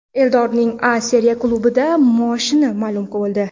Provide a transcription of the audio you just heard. Eldorning A Seriya klubidagi maoshi ma’lum bo‘ldi.